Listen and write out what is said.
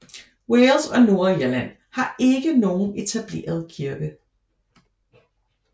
Wales og Nordirland har ikke nogen etableret kirke